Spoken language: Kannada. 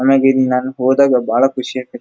ನಮಗೆ ಇದನ್ನ ಓದೋಕೆ ಬಳ ಖುಷಿ ಆಗ್ತೈತೆ.